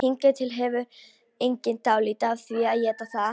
Hingað til hefur enginn dáið af því að éta það.